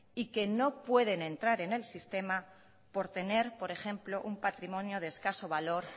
y que no pueden entrar en el sistema por tener por ejemplo un patrimonio de escaso valor